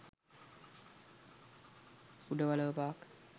udawalawa park